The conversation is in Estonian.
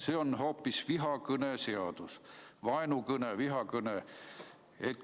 See on hoopis vihakõne seadus – vaenukõne, vihakõne seadus.